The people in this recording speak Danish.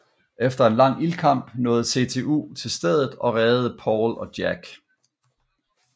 Efter en lang ildkamp nåede CTU til stedet og reddede Paul og Jack